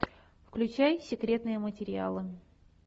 включай секретные материалы